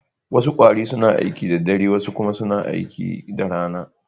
Wasu kwarare suna aiki da dare, wasu kuma suna aiki da rana.